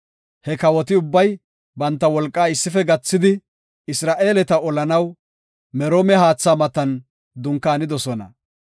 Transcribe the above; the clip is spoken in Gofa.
He kawoti ubbay banta wolqaa issife gathidi, Isra7eeleta olanaw Meroome haatha matan dunkaanidosona.